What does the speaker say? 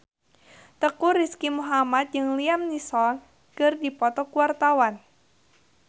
Teuku Rizky Muhammad jeung Liam Neeson keur dipoto ku wartawan